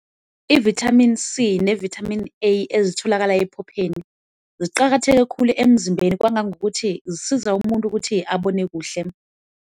I-Vitamin C ne-Vitamin A ezitholakala ephopheni ziqakatheke khulu emzimbeni kwangangokuthi zisiza umuntu ukuthi abone kuhle.